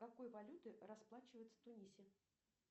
какой валютой расплачиваются в тунисе